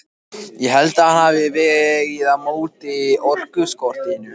Ég held að hann hafi vegið upp á móti orkuskortinum.